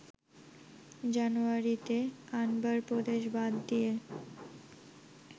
জানুয়ারিতে আনবার প্রদেশ বাদ দিয়ে